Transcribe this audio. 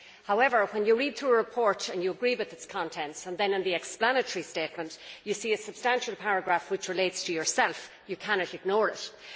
However, when you read through a report and you agree with its contents, and then in the explanatory statement, you see a substantial paragraph which relates to yourself, you cannot ignore it.